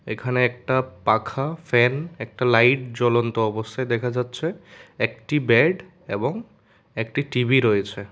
এখানে একটা পাখা ফ্যান একটা লাইট জ্বলন্ত অবস্থায় দেখা যাচ্ছে একটি বেড এবং একটি টি_ভি রয়েছে।